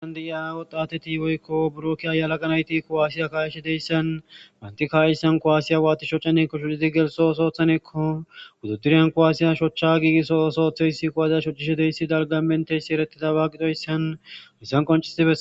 Hayissan de'iya wotati woyikko buro ke'iya yelaga nayitti kuwasiya ka'ishshe diyassanni banitta ka'iyasanni watti shocanekkonni shoccid geliththo oththanekkonni wudidirayani kuwasiyi shochcha gigiso oththo oththizayiss kuwasiya shoccishe dizayiss dalgganni menitizayiss dalgani eretidobba gidoyisanni hayissanni qoncciss